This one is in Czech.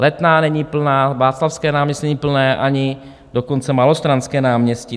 Letná není plná, Václavské náměstí není plné, ani dokonce Malostranské náměstí.